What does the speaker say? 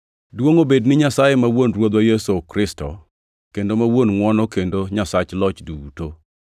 Duongʼ obed ni Nyasaye ma Wuon Ruodhwa Yesu Kristo, kendo ma Wuon ngʼwono kendo Nyasach Loch duto,